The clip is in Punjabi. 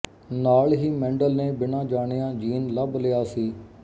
ਨਾਲ ਹੀ ਮੈਂਡਲ ਨੇ ਬਿਨਾਂ ਜਾਣਿਆਂ ਜੀਨ ਲੱਭ ਲਿਆ ਸੀ